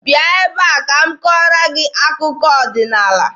Bịa ebe a ka m kọọrọ gị akụkọ ọdịnaala!